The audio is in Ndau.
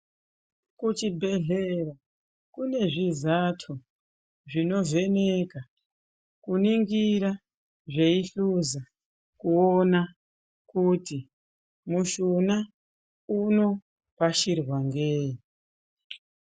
Kuchibhedhlera kune zvizato zvinovheneka kuningira zveihluza kuona kuti mushuna unorashirwa ngeyi.